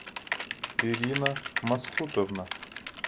ирина мосхутовна